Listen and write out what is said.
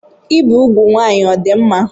Ibi úgwù nwanyị ọ dị mma?